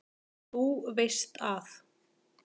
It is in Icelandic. Þú veist að.